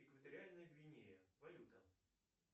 экваториальная гвинея валюта